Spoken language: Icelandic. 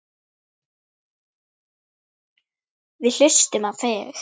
Við hlustum á þig.